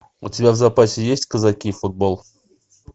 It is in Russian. у тебя в запасе есть казаки футбол